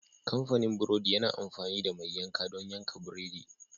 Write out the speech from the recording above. Kamfanin burodi yana amfani da mai yanka don yanka buredi.